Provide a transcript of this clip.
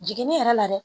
Jiginni yɛrɛ la dɛ